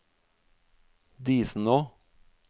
Disenå